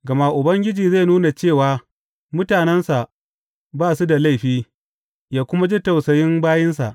Gama Ubangiji zai nuna cewa mutanensa ba su da laifi ya kuma ji tausayin bayinsa.